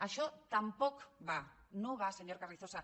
això tampoc va no va señor carrizosa